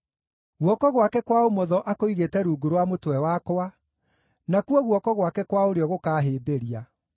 Guoko gwake kwa ũmotho akũigĩte rungu rwa mũtwe wakwa, nakuo guoko gwake kwa ũrĩo gũkaahĩmbĩria.